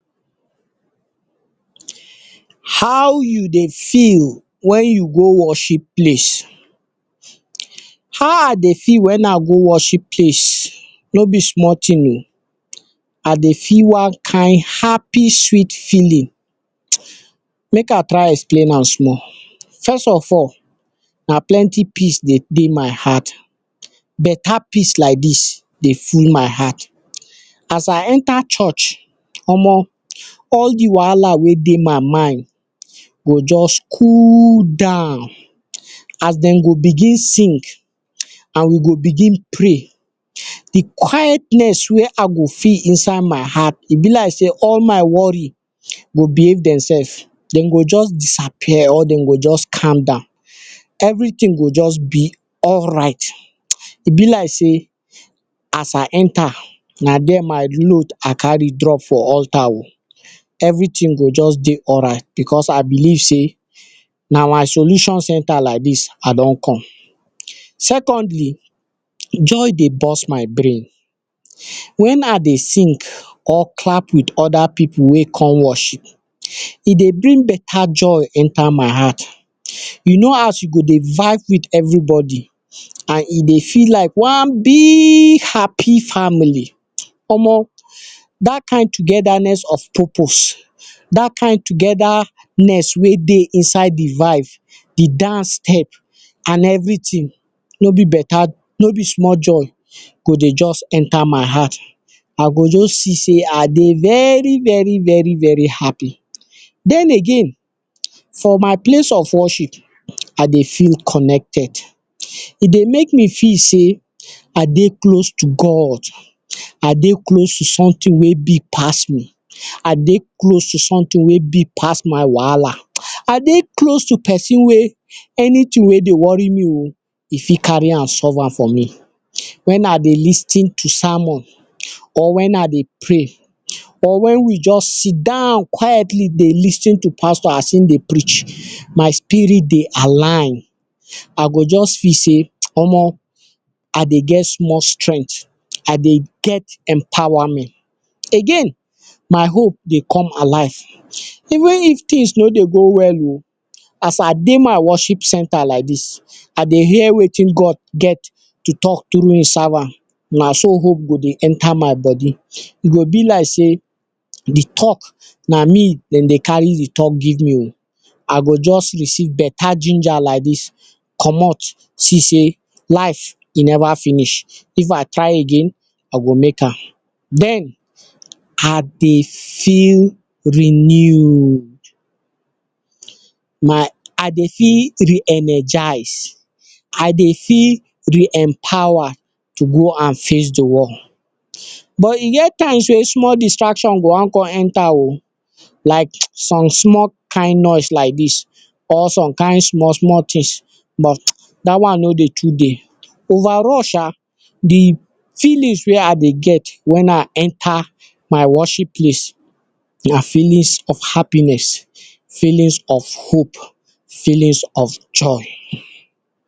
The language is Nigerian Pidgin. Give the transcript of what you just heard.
How you dey feel wen you go worship place? how I dey feel wen I go worship place no be small ting oh. I dey feel one kind happy sweet feeling. make I explain am small; first of all, na plenty peace dey dey my heart beta peace like dis dey fill my heart. as I enter church omo, all de wahala wey dey my mind go just cool down as dem go begin song and we go begin pray de quietness wey I go feel inside my heart e be like sey all my worry go vamuz demsefs; dem go just disappear or dem go just de. everyting go just be alright; e be like sey as I enter na there my load I carry drop for alter everyting go just dey alright because I believe sey na my solution centre I don come. secondly joy dey burst my brain wen I dey sing or clap with other pipu wey come worship e dey bring beta joy enter my heart. e no as you go dey vibe with everybody and you go dey vibe with one big happy family, dat kind togetherness of purpose dat kind togetherness wey dey inside de vibe, de dance step, and everyting no be small joy go dey just enter my heart. I go just see sey I go dey very very happy. den again for my place of worship, I dey feel connected e dey make me feel sey I dey close to God, i dey close to someting wey big pass me. I dey close to someting wey big pass my wahala oh. i dey close to person wey anyting wey dey worry me oh go fit carry am alive am, solve am for me wen. I dey lis ten to sermon or wen I dey pray or wen we just sit down quietly dey lis ten to pastor as e dey preach spirit dey align I go just feel sey Omo I dey get small strength I dey get empowerment again my hope dey come alive even if tings no dey come out well as I dey my worship centre like dis, I dey hear wetin God get to talk through im servant. na so hope go dey enter my body. e go be like sey de talk na me dem dey carry de talk give me. I go just receive beta ginger like dis comot see sey life never finish if I try again I go make am den I dey feel renewed na. I dey feel re-energised; I dey feel empowered to go and save de world but e get times wey small distraction go wan come enter oh; like some small kind noise like dis or some kind small small tings but dat one no dey too dey overall sha… de feeling wey I go get wen I enter my worship place, na feelings of happiness, feelings of hope, feelings of joy.